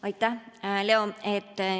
Aitäh, Leo!